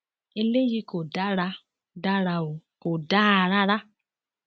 eléyìí kò dára dára o kò dáa rárá